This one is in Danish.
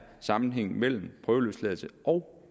sammenhængen mellem prøveløsladelse og